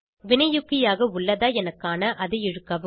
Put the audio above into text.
வினையூக்கியாக உள்ளதா என காண அதை இழுக்கவும்